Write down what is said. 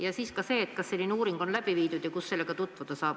Ka see küsimus, et kas selline uuring on läbi viidud ja kus sellega tutvuda saab.